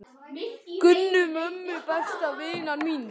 Gunnu, mömmu besta vinar míns.